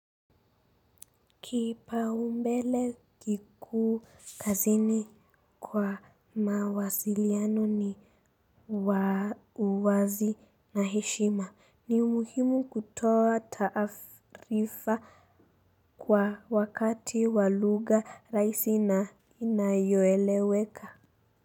Kipaumbele kikuu kazini kwa mawasiliano ni uwazi na heshima ni umuhimu kutoa taarifa kwa wakati wa lugha rahisi na inayoeleweka.